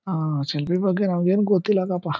ಶಿಲ್ಪಿ ಬಗ್ಗೆ ನಮ್ಮಗೆ ಏನ್ ಗೊತ್ತಿಲ್ಲ .]